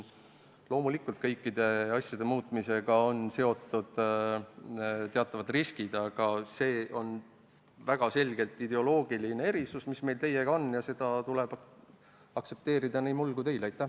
Loomulikult on kõikide asjade muutmisega seotud teatavad riskid, aga meil teiega on väga selgelt ideoloogiline erimeelsus ja seda tuleb aktsepteerida nii minul kui ka teil.